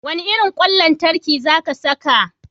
Wane irin kwan lantarki za ka saka?